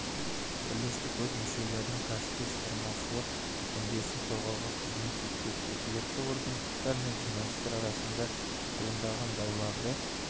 бірлестік өз мүшелерінің кәсіби-шығармашылық мүддесін қорғауға қызмет етпек өкілетті органдар мен журналистер арасында туындаған дауларды